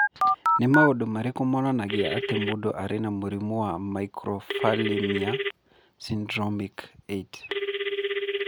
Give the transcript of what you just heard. Nĩ maũndũ marĩkũ monanagia atĩ mũndũ arĩ na mũrimũ wa Microphthalmia syndromic 8?